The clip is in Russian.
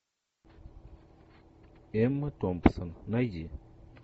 эмма томпсон найди